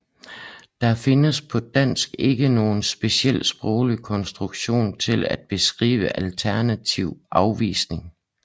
Der findes på dansk ikke nogen special sproglig konstruktion til at beskrive alternativ afvisning